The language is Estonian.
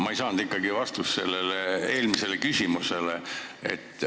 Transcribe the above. Ma ei saanud ikkagi oma eelmisele küsimusele vastust.